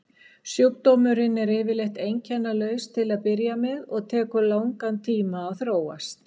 Sjúkdómurinn er yfirleitt einkennalaus til að byrja með og tekur langan tíma að þróast.